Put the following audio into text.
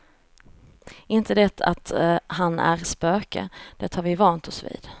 Inte det att han är spöke, det har vi vant oss vid.